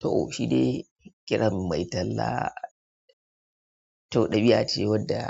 To, shi dai kiran mai tallah. Tau ɗabi'a ce wadda